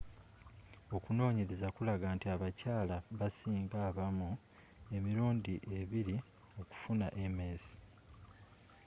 okunoonyereza kulaga nti abakyala basinga abaami emirundi ebiri okufuna ms